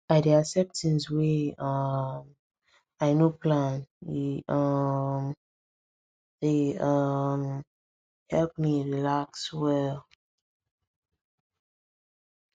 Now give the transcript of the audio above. i dey accept things wey um i no plan e um dey um help me relax well